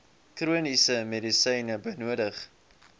chroniese medisyne benodig